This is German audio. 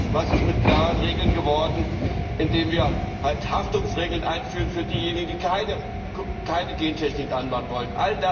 Was ist aus klaren Regeln geworden, indem wir Haftungsregeln einführen für diejenigen, die keine Gentechnik anbauen wollen?